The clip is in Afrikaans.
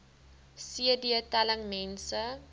cd telling mense